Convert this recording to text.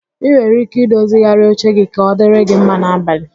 Ị nwere ike i dozigharị oche gi ka ọ dịrị gị mma n'abalị